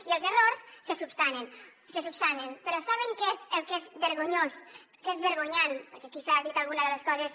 i els errors se solucionen però saben què és el que és vergonyós el que és vergonyant perquè aquí s’ha dit alguna de les coses